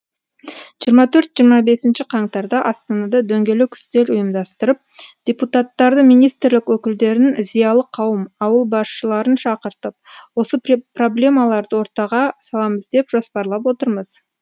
жиырма төрт жирыма бесінші қаңтарда астанада дөңгелек үстел ұйымдастырып депутаттарды министрлік өкілдерін зиялы қауым ауыл басшыларын шақыртып осы проблемаларды ортаға саламыз деп жоспарлап отырмыз